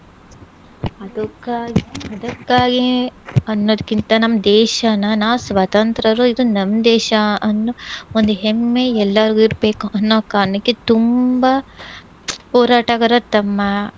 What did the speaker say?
ಅದಕ್ಕಾ~ ಅದಕ್ಕಾಗಿ ಅನ್ನೊದ್ಕಿಂತ ನಮ್ ದೇಶನ ನಾವ್ ಸ್ವತಂತ್ರರು, ಇದು ನಮ್ ದೇಶ ಅನ್ನೋ ಒಂದ್ ಹೆಮ್ಮೆ ಎಲ್ಲಾರ್ಗೂ ಇರ್ಬೇಕು ಅನ್ನೋ ಕಾರ್ಣಕ್ಕೆ ತುಂಬಾ ಹೋರಾಟಗಾರರು ತಮ್ಮ